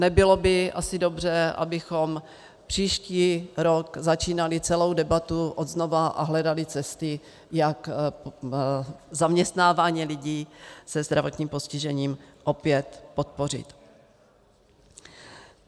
Nebylo by asi dobře, abychom příští rok začínali celou debatu od znova a hledali cesty, jak zaměstnávání lidí se zdravotním postižením opět podpořit.